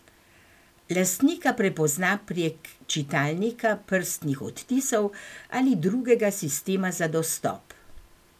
Lastnika prepozna prek čitalnika prstnih odtisov ali drugega sistema za dostop.